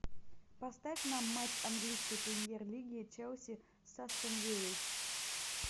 поставь нам матч английской премьер лиги челси с астон виллой